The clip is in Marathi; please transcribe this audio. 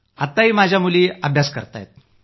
आत्ताही माझ्या मुली अभ्यास करताहेत